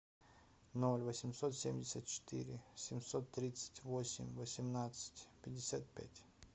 ноль восемьсот семьдесят четыре семьсот тридцать восемь восемнадцать пятьдесят пять